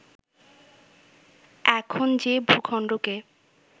এখন যে ভূখণ্ডকে